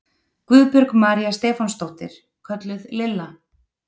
Guðbjörg María Stefánsdóttir, kölluð Lilla